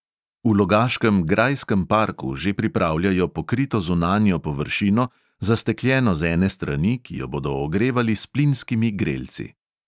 V logaškem grajskem parku že pripravljajo pokrito zunanjo površino, zastekljeno z ene strani, ki jo bodo ogrevali s plinskimi grelci.